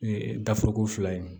daforoko fila ye